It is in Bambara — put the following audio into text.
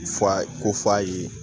Fu a ye ko f'a ye